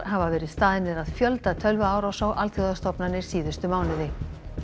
hafa verið staðnir að fjölda tölvuárása á alþjóðastofnanir síðustu mánuði